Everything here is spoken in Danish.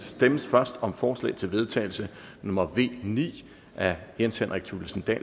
stemmes først om forslag til vedtagelse nummer v ni af jens henrik thulesen dahl